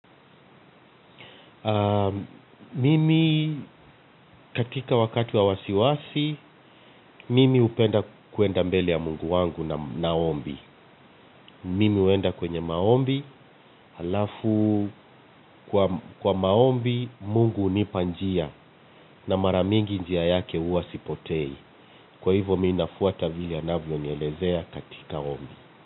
Mimi katika wakati wa wasiwasi, mimi hupenda kuenda mbele ya Mungu wangu na ombi. Mimi huenda kwenye maombi halafu kwa maombi Mungu hunipa njia. Kwa hivyo mi nafuata vile anavyonielezea katika ombi.